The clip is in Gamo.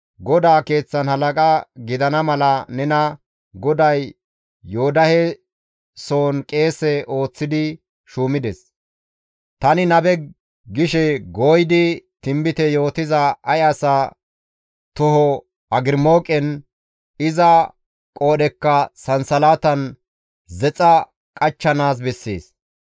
GODAA Keeththan halaqa gidana mala nena GODAY Yoodahe sohon qeese ooththidi shuumides; ‹Tani nabe› gishe gooyidi tinbite yootiza ay asa toho agrimooqen, iza qoodhekka sansalatan zexxa qachchanaas bessees.